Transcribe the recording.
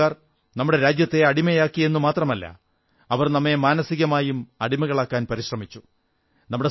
ഇംഗ്ലീഷുകാർ നമ്മുടെ രാജ്യത്തെ അടിമയാക്കിയെന്നു മാത്രമല്ല അവർ നമ്മെ മാനസികമായും അടിമകളാക്കാൻ പരിശ്രമിച്ചു